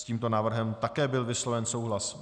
S tímto návrhem také byl vysloven souhlas.